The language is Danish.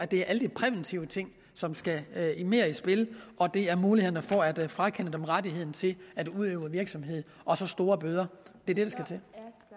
det er alle de præventive ting som skal mere i spil og det er mulighederne for at frakende dem rettigheden til at udøve virksomhed og så store bøder det